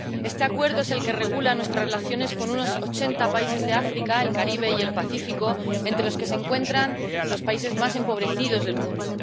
Este acuerdo es el que regula nuestras relaciones con unos ochenta países de África, el Caribe y el Pacífico, entre los que se encuentran los países más empobrecidos del mundo.